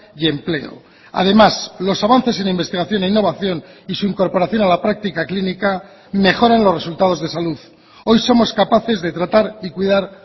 y empleo además los avances en investigación e innovación y su incorporación a la práctica clínica mejoran los resultados de salud hoy somos capaces de tratar y cuidar